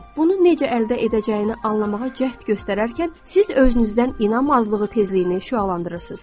Bunu necə əldə edəcəyini anlamağa cəhd göstərərkən siz özünüzdən inam azlığı tezliyini şüalandırırsınız.